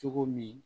Cogo min